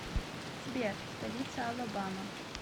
сбер столица алабама